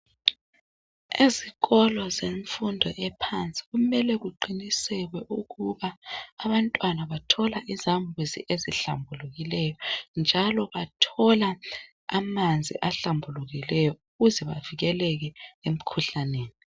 Ezikolo zemfundo ephansi kumele kuqiniselwe ukuba abantwana bathola izamuzi esihlambulukileyo njalo bathola amanzi ahlambulukileyo kuze bavikeleke emkhuhlaneni.